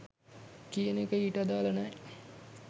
කියන එක ඊට අදාල නෑ.